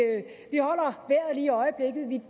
i øjeblikket vi